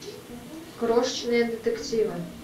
крошечные детективы